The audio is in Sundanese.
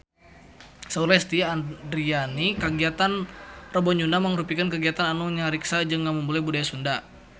Saur Lesti Andryani kagiatan Rebo Nyunda mangrupikeun kagiatan anu ngariksa jeung ngamumule budaya Sunda